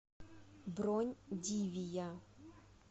бронь дивия